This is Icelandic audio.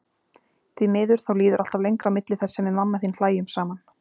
Því miður, þá líður alltaf lengra á milli þess sem við mamma þín hlæjum saman.